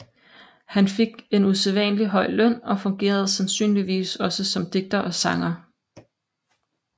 Han fik en usædvanlig høj løn og fungerede sandsynligvis også som digter og sanger